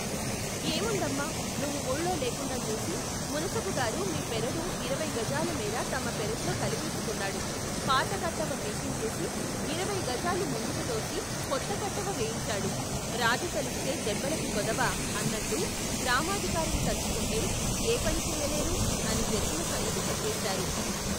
ఏముందమ్మా నువ్వు ఊళ్లో లేకుండా చూసి మునసబుగారు మీ పెరడు ఇరవై గజాల మేర తమ పెరట్లో కలిపేసుకున్నాడు పాతకట్టవ పీకించేసి ఇరవై గజాలు ముందుకుతోసి కొత్త కట్టవ వేయించాడు రాజు తలిస్తే దెబ్బలకు కొదవా అన్నట్టు గ్రామాధికారులు తలుచుకుంటే ఏపని చెయ్యలేరు అని జరిగిన సంగతి చెప్పేశారు.